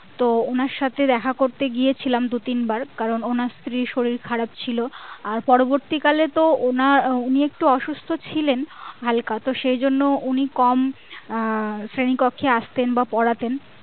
তো ওনার সাথে দেখা করতে গিয়েছিলাম দু তিনবার কারণ ওনার স্ত্রীর শরীর খারাপ ছিল আর পরবর্তি কালে তো ওনার উনি একটু অসুস্থ ছিলেন হালকা তো সেজন্য উনি কম আহ শ্রেণী কক্ষে আসতেন বা পড়াতেন